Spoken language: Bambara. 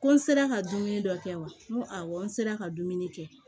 Ko n sera ka dumuni dɔ kɛ wa n ko awɔ n sera ka dumuni kɛ